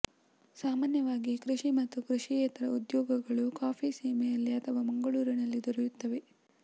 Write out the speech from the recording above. ಸಾಮಾನ್ಯವಾಗಿ ಕೃಷಿ ಮತ್ತು ಕೃಷಿಯೇತರ ಉದ್ಯೋಗಗಳು ಕಾಫಿ ಸೀಮೆಯಲ್ಲಿ ಅಥವಾ ಮಂಗಳೂರಿನಲ್ಲಿ ದೊರೆಯುತ್ತವೆ